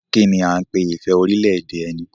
Kí ni a ń pè ní ìfẹ́ orílẹ̀-èdè ẹni?